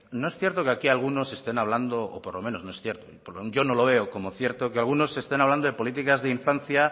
no es cierto que aquí algunos estén hablando o por lo menos no es cierto yo no lo veo como cierto que algunos estén hablando de políticas de infancia